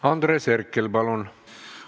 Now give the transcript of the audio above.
Andres Herkel, palun!